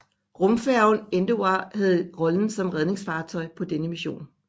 Rumfærgen Endeavour havde rollen som redningsfartøj på denne mission